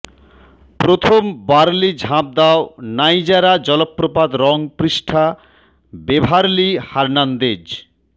প্রথম বার্লি ঝাঁপ দাও নাইজারা জলপ্রপাত রং পৃষ্ঠা বেভারলি হার্নান্দেজ